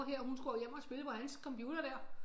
Mor her hun skulle hjem og spille på hans computer der